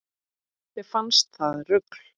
Þeim fannst það rugl